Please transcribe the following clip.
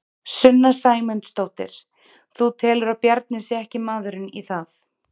Sunna Sæmundsdóttir: Þú telur að Bjarni sé ekki maðurinn í það?